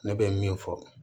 Ne bɛ min fɔ